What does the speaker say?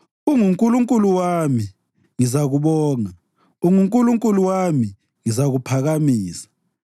UnguNkulunkulu wami, ngizakubonga; unguNkulunkulu wami, ngizakuphakamisa.